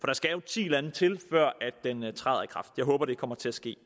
der skal jo ti lande til før den træder i kraft jeg håber det kommer til at ske